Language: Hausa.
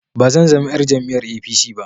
Ba zan zama yar jam'iyar APC ba